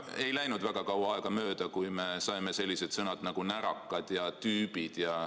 Ei läinud väga kaua aega mööda, kui me kuulsime selliseid sõnu nagu "närakad" ja "tüübid".